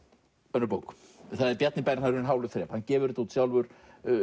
önnur bók það er Bjarni Bernharður Hin hálu þrep hann gefur þetta út sjálfur